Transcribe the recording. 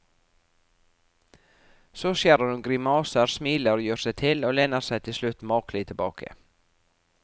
Så skjærer hun grimaser, smiler, gjør seg til og lener seg til slutt makelig tilbake.